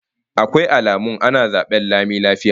Akwai alamun ana zaben lami lafiya?